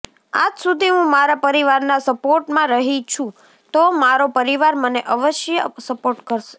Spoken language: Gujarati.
આજ સુધી હું મારા પરિવારના સપોર્ટમાં રહી છું તો મારો પરિવાર મને અવશ્ય સપોર્ટ કરશે